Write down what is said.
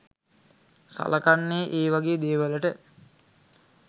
සලකන්නේ ඒ වගේ දේවලට.